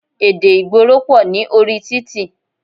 Èdè ìgboro pọ̀ ní orí títì.